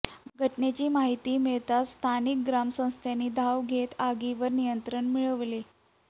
घटनेची माहिती मिळताच स्थानिक ग्रामस्थांनी धाव घेत आगीवर नियंत्रण मिळवले